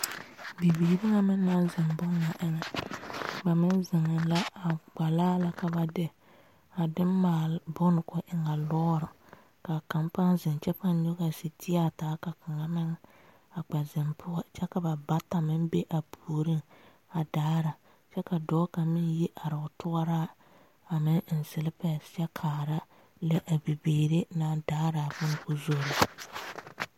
Bibiiri kaŋa meŋ naŋ zeŋ bon ŋa gbolaa la ka ba de a de maale boŋ ko e a ŋa lɔre kaa kaŋ paa zeŋ kyɛ paa nyoŋa setiyaa taa ka kaŋa meŋ kpɛ zeŋ poɔ kyɛ ka ba bata meŋ be a puori a daare dɔɔ kaŋa meŋ yi are o tuura a meŋ eŋ siilepɛ kyɛ kaa lɛ a bibile naŋ daare baŋ ko zoro.